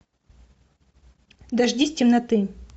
дождись темноты